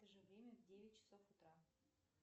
в это же время в девять часов утра